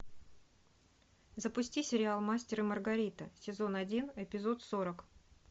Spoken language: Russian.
запусти сериал мастер и маргарита сезон один эпизод сорок